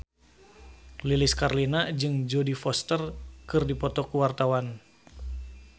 Lilis Karlina jeung Jodie Foster keur dipoto ku wartawan